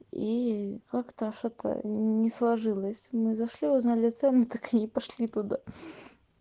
и как-то что-то не сложилось мы зашли узнали цены так и не пошли туда